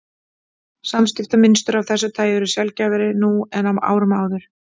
Samskiptamynstur af þessu tagi eru sjaldgæfari nú en á árum áður.